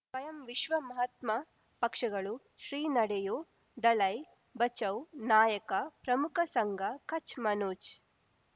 ಸ್ವಯಂ ವಿಶ್ವ ಮಹಾತ್ಮ ಪಕ್ಷಗಳು ಶ್ರೀ ನಡೆಯೂ ದಲೈ ಬಚೌ ನಾಯಕ ಪ್ರಮುಖ ಸಂಘ ಕಚ್ ಮನೋಜ್